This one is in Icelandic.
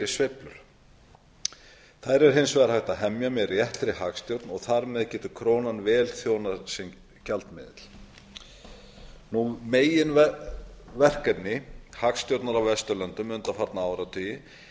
sveiflur þær er hins vegar hægt að hemja með réttri hagstjórn og þar með getur krónan vel þjónað sem gjaldmiðill meginverkefni hagstjórnar á vesturlöndum undanfarna áratugi